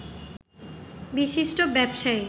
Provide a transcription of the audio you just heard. বিশিষ্ট ব্যবসায়ী